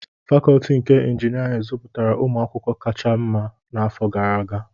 Fakọọti nke Injinịarịn zụpụtara ụmụ akwụkwọ kacha mma n'afọ gara aga